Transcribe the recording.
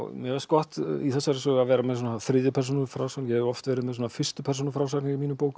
mér fannst gott í þessari sögu að vera með þriðju persónu frásögn ég hef oft verið með fyrstu persónu frásagnir í mínum bókum